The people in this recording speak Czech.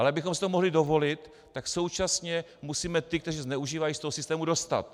Ale abychom si to mohli dovolit, tak současně musíme ty, kteří to zneužívají, z toho systému dostat.